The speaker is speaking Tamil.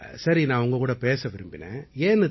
சரி நான் உங்ககூட பேச விரும்பினேன்